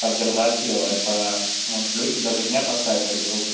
поддержать её это он плюсик даже мне поставит как другу